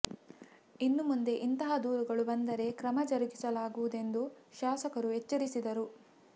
ಇನ್ನು ಮುಂದೆ ಇಂತಹ ದೂರುಗಳು ಬಂದರೆ ಕ್ರಮ ಜರುಗಿಸಲಾಗುವುದೆಂದು ಶಾಸಕರು ಎಚ್ಚರಿಸಿದರು